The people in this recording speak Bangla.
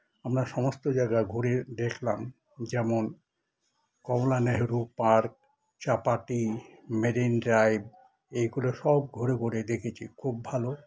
আমরা সমস্ত জায়গায় ঘুরে দেখলাম যেমন Kamala Nehru park Chowpatty marine drive এইগুলো সব ঘুরে ঘুরে দেখেছি খুব ভালো